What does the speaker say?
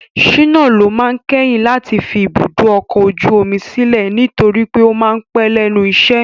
Shina ló máa kẹ́yìn láti fi ibùdó ọkọ̀ ojú omi sílẹ̀ nitori pe o máa pẹ́ lẹ́nu iṣẹ́.